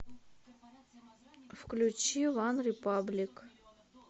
включи ванрепаблик